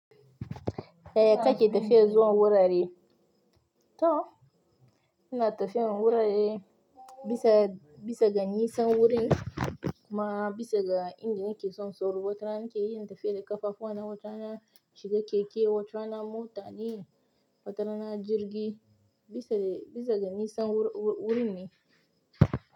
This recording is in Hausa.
Yaya kake tafiya zuwa wurare? To, ina tafiyan wurare bisa, bisa ga nisan wurin kuma bisa ga inda nake son sauro. Watana nake yin tafiya da ƙafafuwa na, wata na shiga keke, wata na mota ne, wata na jirgi bisa, bisa ga nisan wuri wurin ne.